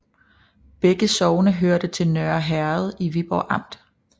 Begge sogne hørte til Nørre Herred i Viborg Amt